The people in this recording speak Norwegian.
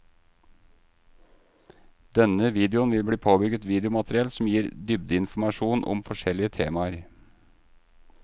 Denne videoen vil bli påbygget videomateriell som gir dybdeinformasjon om forskjellige temaer.